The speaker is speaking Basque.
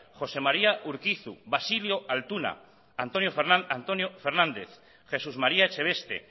josé maría urkizu basilio altuna antonio fernández jesús maría echebeste